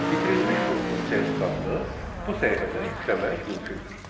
Bitirilmiş kursun sertifikatını bu səhifədə yükləmək mümkündür.